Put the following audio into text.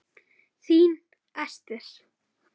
Þín Ester.